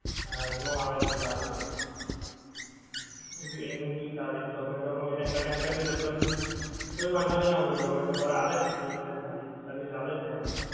હા એનો આવે છે સારું હોએ છે એનું ભી સારી zomato નું એને connect કર્યું છે પણ તોય વાંધો નહીં આવતો zomato વાળા આલે છે સારી service આલે છે એને